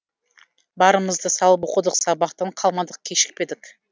барымызды салып оқыдық сабақтан қалмадық кешікпедік